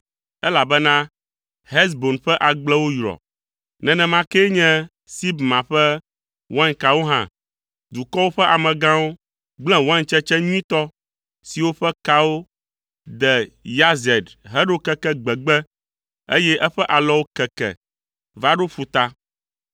elabena Hesbon ƒe agblewo yrɔ, nenema kee nye Sibma ƒe wainkawo hã. Dukɔwo ƒe amegãwo gblẽ waintsetse nyuitɔ siwo ƒe kawo de Yazer heɖo keke gbegbe, eye eƒe alɔwo keke va ɖo ƒuta.